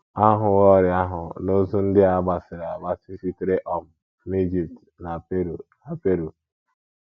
A hụwo ọrịa ahụ n’ozu ndị a gbasiri agbasi sitere um n’Ijipt na Peru na Peru.